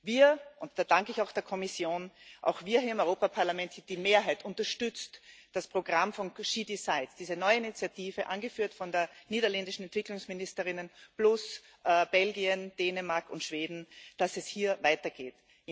Wir und da danke ich auch der Kommission auch wir hier im Europaparlament, die Mehrheit unterstützt das Programm She decides, diese neue Initiative, angeführt von der niederländischen Entwicklungsministerin plus Belgien, Dänemark und Schweden, dass es hier weitergeht.